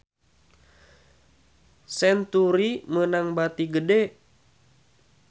Century meunang bati gede